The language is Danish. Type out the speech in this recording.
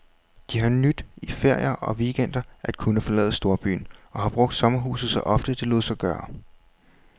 De har nydt i ferier og weekender at kunne forlade storbyen, og har brugt sommerhuset så ofte, det lod sig gøre.